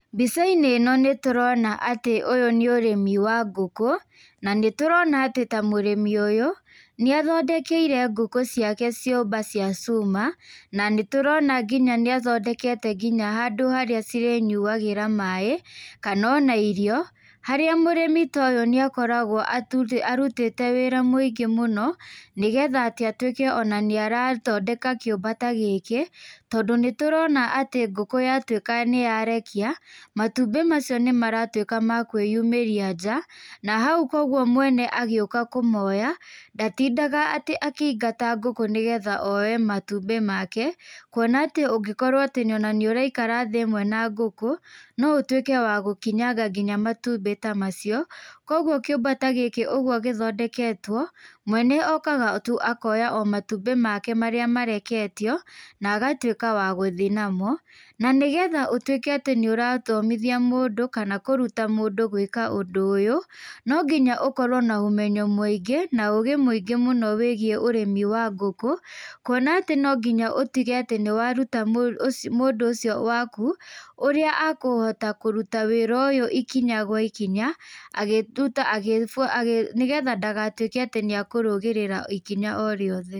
Mbica-inĩ ĩno nĩtũrona atĩ ũyũ nĩ ũrĩmi wa ngũkũ, na nĩtũrona atĩ ta mũrĩmi ũyũ, nĩathondekeire ngũkũ ciake ciũmba cia cuma, na nitũrona nginya nĩathondekete nginya handũ harĩa cirĩnyuagĩra maĩ, kanona irio, harĩa mũrĩmi toyũ nĩakoragwo atuthĩ arutĩte wĩra mũingĩ mũno, nĩ getha atĩ atwĩke ona nĩarathondeka kĩũmba ta gĩkĩ, tondũ nĩtũrona atĩ ngũkũ yatwĩka nĩyarekia, matumbĩ macio nĩmaratwĩka makwĩyumĩria nja, na hau koguo mwene agĩũka kũmoya, ndatindaga atĩ akĩingata ngũkũ nĩgetha oe matumbĩ make, kuona atĩ ũngĩkorwo ona nĩũraikara thĩ ĩmwe na ngũkũ, oũtwĩke nginya wa gũkinyanga nginya matumbĩ ta amcio, koguo kĩũmba ta gĩkĩ ũguo gĩthondeketwo, mwene okaga tu akoya matumbĩ make o marĩa mareketio, nagatwĩka wa gũthiĩ namo, nanĩgetha ũtwĩke atĩ nĩũrathomithia mũndũ kana kũruta mũndũ gwĩka ũndũ ũyũ, nonginya ũkorwo na ũmenyo mũingí, na ũgĩ mũingĩ mũno wĩgiĩ ũrĩmi wa ngũkũ, kuona atĩ no nginya ũtige atĩ nĩaruta mũ ũci mũndũ ũcio waku, ũrĩa akũhota kũruta wĩra ũyũ ikinya gwa ikinya, agĩtuta agĩbu agĩ nĩ getha ndagatwĩke atĩ nĩakũrũgĩrĩra ikinya o rĩothe.